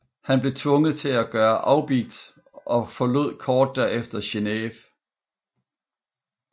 Han blev tvunget til at gøre afbigt og forlod kort derefter Genève